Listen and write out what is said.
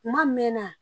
Kuma mɛn na